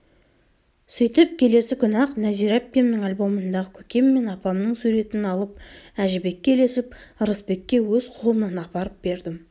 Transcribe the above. сөйтіп келесі күні-ақ нәзира әпкемнің альбомындағы көкем мен апамның суретін алып әжібекке ілесіп ырысбекке өз қолымнан апарып бердім